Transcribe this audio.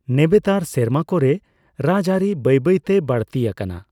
ᱱᱮᱵᱮᱛᱟᱨ ᱥᱮᱨᱢᱟᱠᱚ ᱨᱮ ᱨᱟᱡᱽᱟᱹᱨᱤ ᱵᱟᱹᱭ ᱵᱟᱹᱭᱛᱮ ᱵᱟᱹᱲᱛᱤ ᱟᱠᱟᱱᱟ ᱾